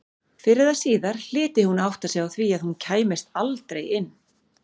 Fyrr eða síðar hlyti hún að átta sig á því að hún kæmist aldrei inn.